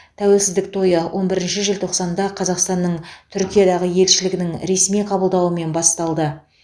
тәуелсіздік тойы он бірінші желтоқсанда қазақстанның түркиядағы елшілігінің ресми қабылдауымен басталды